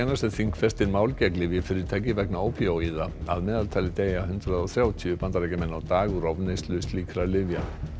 sem þingfestir mál gegn lyfjafyrirtæki vegna ópíóíða að meðaltali deyja hundrað og þrjátíu Bandaríkjamenn á dag úr ofneyslu slíkra lyfja